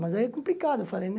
Mas aí é complicado, eu falei, né?